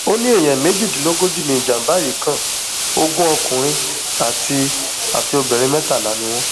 ó ní èèyàn méjìdínlógójì ni ìjàmbá yìí kan ogún ọkùnrin àti àti obìnrin mẹtàlá ni wọn